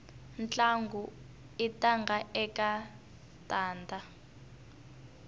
ntlangu i tanda eka tanda